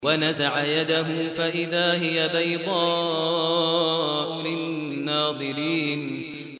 وَنَزَعَ يَدَهُ فَإِذَا هِيَ بَيْضَاءُ لِلنَّاظِرِينَ